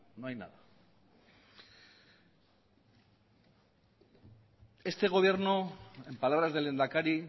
no hay nada este gobierno en palabras del lehendakari